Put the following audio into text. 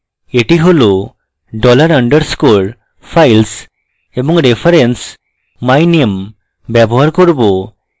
এটি হল dollar underscore files এবং reference myname ব্যবহার করব